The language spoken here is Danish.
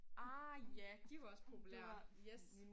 Ah ja de var også populære yes